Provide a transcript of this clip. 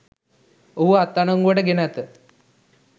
ඔහුව අත්අඩංගුවට ගෙන ඇත